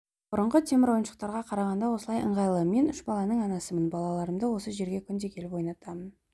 бұрынғы темір ойыншықтарға қарағанда осылай ыңғайлы мен үш баланың анасымын балаларымды осы жерге күнде келіп ойнатамын